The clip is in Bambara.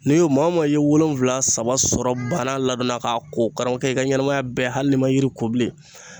N'i y'o maa o maa i ye wolonfila saba sɔrɔ bana ladonna k'a ko karamɔɔkɛ i ka ɲɛnamaya bɛɛ hali n'i ma yiri ko bilen